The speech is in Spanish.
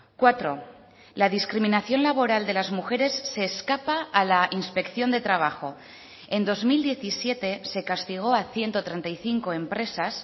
cuatro la discriminación laboral de las mujeres se escapa a la inspección de trabajo en dos mil diecisiete se castigó a ciento treinta y cinco empresas